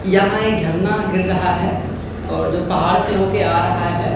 यहां एक झरना गिर रहा है और जो पहाड़ से होके आ रहा है।